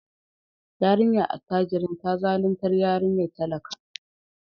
Yarinyar attajirin ta zaluntar yarinyar talaka.